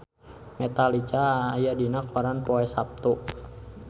Metallica aya dina koran poe Saptu